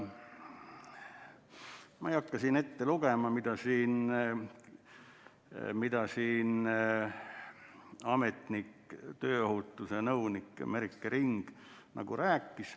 Ma ei hakka ette lugema, mida ametnik, tööstusohutuse nõunik Merike Ring rääkis.